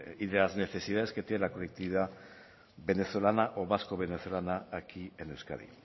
y de las necesidades que tiene la colectividad venezolana o vasco venezolana aquí en euskadi